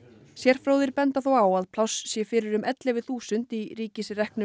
sérfróðir benda þó á að pláss sé fyrir um ellefu þúsund í ríkisreknum